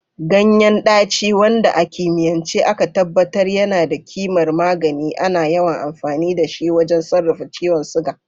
Ganyen daci, wanda a kimiyance aka tabbatar yana da kimar magani, ana yawan amfani da shi wajen sarrafa ciwon suga.